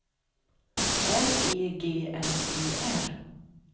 R E G L E R